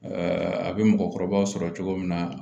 a bɛ mɔgɔkɔrɔbaw sɔrɔ cogo min na